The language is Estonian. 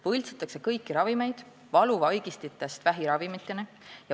Võltsitakse kõiki ravimeid valuvaigistitest vähiravimiteni.